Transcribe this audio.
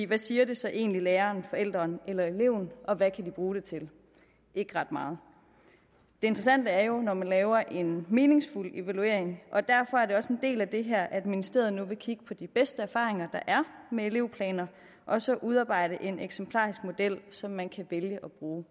hvad siger det så egentlig læreren forælderen eller eleven og hvad kan de bruge det til ikke ret meget det interessante er jo når man laver en meningsfuld evaluering og derfor er det også en del af det her at ministeriet nu vil kigge på de bedste erfaringer der er med elevplaner og så udarbejde en eksemplarisk model som man kan vælge at bruge